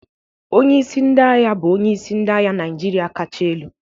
Onye isi ndị agha bụ onyeisi ndị agha Naịjirịa kacha elu.